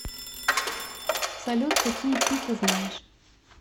салют какие пи ты знаешь